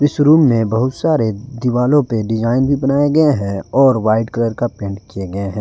इस रूम में बहुत सारे दीवारों पर डिजाइन भी बनाया गया है और वाइट कलर का पेंट किये गए है।